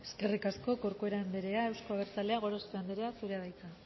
eskerrik asko corcuera andrea euzko abertzaleak gorospe andrea zurea da hitza